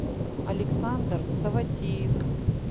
александр саватеев